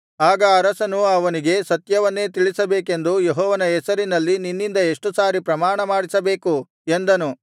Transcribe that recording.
ಆಗ ಅರಸನು ಅವನಿಗೆ ಸತ್ಯವನ್ನೇ ತಿಳಿಸಬೇಕೆಂದು ಯೆಹೋವನ ಹೆಸರಿನಲ್ಲಿ ನಿನ್ನಿಂದ ಎಷ್ಟು ಸಾರಿ ಪ್ರಮಾಣ ಮಾಡಿಸಬೇಕು ಎಂದನು